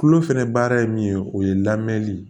Kulo fɛnɛ baara ye min ye o ye lamɛnli ye